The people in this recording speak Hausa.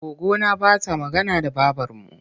Goggona ba ta magana da babarmu.